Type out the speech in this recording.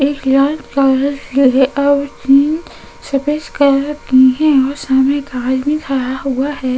ऐक और ग्रीन सफेद कलर की है और सामने भी खड़ा हुआ है।